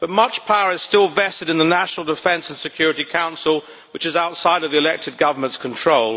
But much power is still vested in the National Defence and Security Council, which is outside of the elected government's control.